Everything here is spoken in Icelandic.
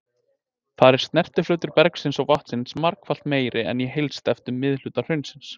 Þar er snertiflötur bergsins og vatnsins margfalt meiri en í heilsteyptum miðhluta hraunsins.